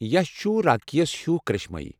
یش چھُ راکی ہس ہِیوٗ كرِشمٲیی ۔